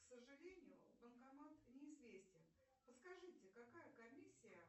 к сожалению банкомат неизвестен подскажите какая комиссия